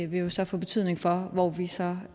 vil jo så få betydning for hvor vi så